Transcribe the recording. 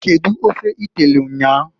Kedu ofe i telu nnyaa?